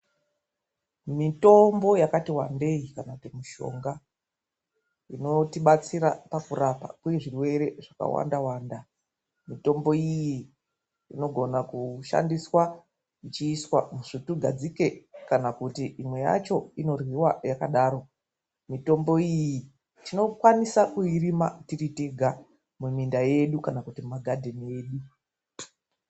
Mitombo yakati wandei kana kuti mishonga inotibatsira pakurapwa kwezvirwewe zvakawandawanda, mitombo iyi inogona kushandiswa ichiiswa musvutugadzike kana kuti imwe yacho inoryiwa yakadaro. Mitombo iyi tinokwanisa kuirima tiritega muminda yedu kana kuti mumagadheni edu.